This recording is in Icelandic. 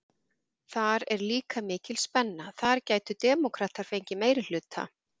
Þar er líka mikil spenna, þar gætu demókratar fengið meirihluta?